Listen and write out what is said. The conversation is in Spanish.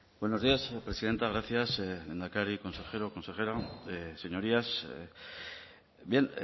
buenos días presidenta gracias lehendakari consejero consejera señorías bien